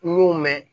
N y'o mɛn